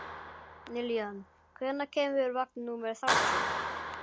Lillian, hvenær kemur vagn númer þrjátíu?